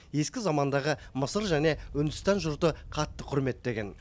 ескі замандағы мысыр және үндістан жұрты қатты құрметтеген